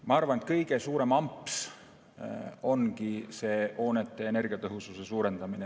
Ma arvan, et kõige suurem amps ongi hoonete energiatõhususe suurendamine.